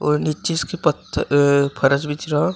और नीचे इसके पथ अह फरस बिछ रहा--